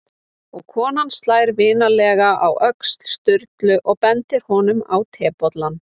Og konan slær vinalega á öxl Sturlu og bendir honum á tebollann.